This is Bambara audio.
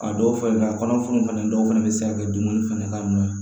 A dɔw fɛnɛ la a kɔnɔ funun fɛnɛ dɔw fɛnɛ be se ka kɛ dumuni fɛnɛ ka nɔ ye